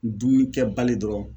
Dumuni kɛ bali dɔrɔn